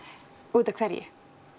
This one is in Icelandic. út af hverju